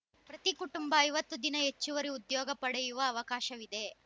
ಪ್ರತಿ ಕುಟುಂಬ ಐವತ್ತು ದಿನ ಹೆಚ್ಚುವರಿ ಉದ್ಯೋಗ ಪಡೆಯುವ ಅವಕಾಶವಿದೆ